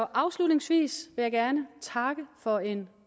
afslutningsvis vil jeg gerne takke for en